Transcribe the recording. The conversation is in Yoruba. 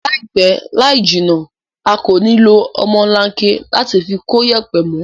Láìpẹ́ láìjìnà a kò ní lo ọmọlanke láti fi kóyẹ̀pẹ̀ mó